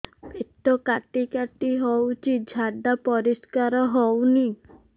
ପେଟ କାଟି କାଟି ହଉଚି ଝାଡା ପରିସ୍କାର ହଉନି